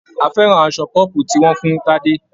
A fẹ́ràn aṣọ pọ́pù tí wọ́n fún Tadé.